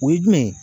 O ye jumɛn ye